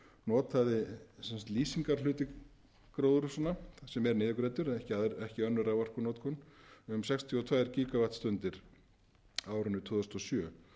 notaði lýsingarhluti gróðurhúsanna sem er niðurgreiddur ekki önnur raforkunotkun um sextíu og tvö gígavattstundir á árinu tvö þúsund og sjö